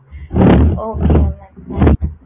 okay mam